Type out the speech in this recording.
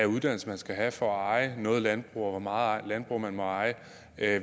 uddannelse man skal have for at eje noget landbrug og for hvor meget landbrug man må eje